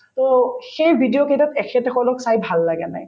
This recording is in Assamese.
to সেই video কেইটাত এখেতসকলক চাই ভাল লাগা নাই